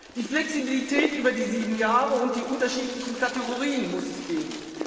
Die Flexibilität über die sieben Jahre und die unterschiedlichen Kategorien muss es geben.